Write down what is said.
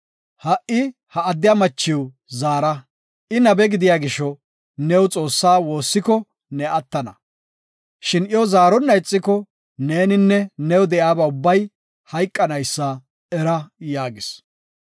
Ha77i ha addiya machiw zaara. I nabe gidiya gisho, new Xoossa woossiko ne attana. Shin iyo zaarona ixiko, neeninne new de7iyaba ubbay hayqanaysa era” yaagis.